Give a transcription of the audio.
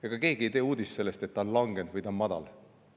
Ega keegi ei tee uudist sellest, et ta on langenud või on madal.